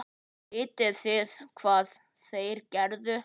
Vitið þið hvað þeir gerðu?